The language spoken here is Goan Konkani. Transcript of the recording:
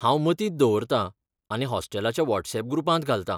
हांव मतींत दवरतां आनी हॉस्टेलाच्या व्हॉट्सऍप ग्रुपांत घालता.